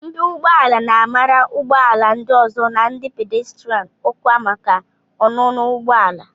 Mpi ụgbọ ala na-amara ụgbọ ala ndị ọzọ na ndị pàdéstirán ọkwa maka ọnụnọ ụgbọ ala